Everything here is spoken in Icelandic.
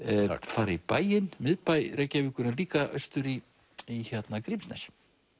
fara í bæinn miðbæ Reykjavíkur en líka austur í í Grímsnes